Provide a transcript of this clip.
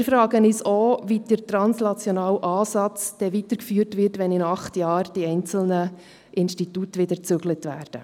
Wir fragen uns auch, wie der translationale Ansatz weitergeführt wird, wenn in acht Jahren die einzelnen Institute wieder umziehen.